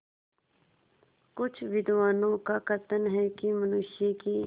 कुछ विद्वानों का कथन है कि मनुष्य की